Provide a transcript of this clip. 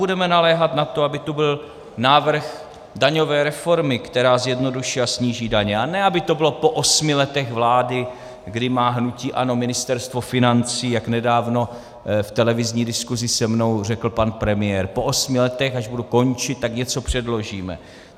Budeme naléhat na to, aby tu byl návrh daňové reformy, která zjednoduší a sníží daně, a ne aby to bylo po osmi letech vlády, kdy má hnutí ANO Ministerstvo financí, jak nedávno v televizní diskusi se mnou řekl pan premiér - po osmi letech, až budu končit, tak něco předložíme.